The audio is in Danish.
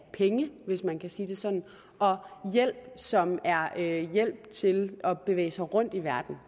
penge hvis man kan sige det sådan og hjælp som er er hjælp til at bevæge sig rundt i verden